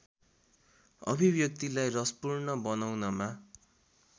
अभिव्यक्तिलाई रसपूर्ण बनाउनमा